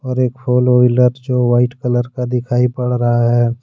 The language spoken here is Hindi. और एक फोर व्हीलर जो वाइट कलर का दिखाई पड़ रहा है।